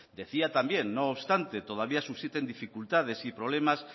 decía también no obstante todavía susciten dificultades y problemas